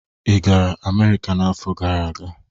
Ị gara Amerika n'afọ gara aga?